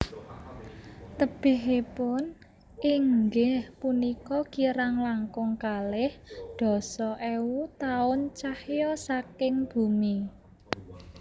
Tebihipun inggih punika kirang langkung kalih dasa ewu taun cahya saking bumi